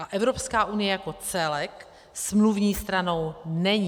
A Evropská unie jako celek smluvní stranou není.